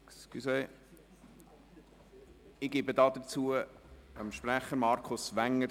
Ich erteile das Wort dem Kommissionssprecher, Markus Wenger.